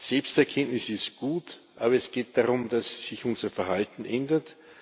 Selbsterkenntnis ist gut, aber es geht darum, dass sich unser Verhalten ändert.